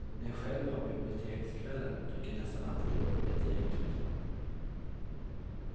När jag själv har bibliotekskvällar dyker det nästan alltid upp ett gäng eller två.